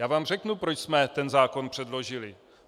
Já vám řeknu, proč jsme ten zákon předložili.